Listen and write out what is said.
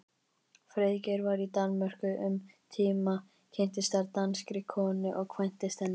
Friðgeir var í Danmörku um tíma, kynntist þar danskri konu og kvæntist henni.